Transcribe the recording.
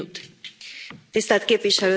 Tisztelt Képviselőtársaim!